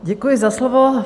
Děkuji za slovo.